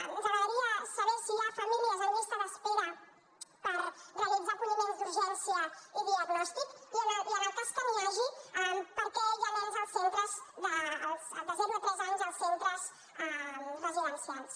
ens agradaria saber si hi ha famílies en llista d’espera per realitzar acolliments d’urgència i diagnòstic i en el cas que n’hi hagi per què hi ha nens de zero a tres anys en els centres residencials